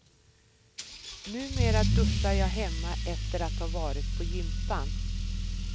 Numera duschar jag hemma efter att ha varit på gympan.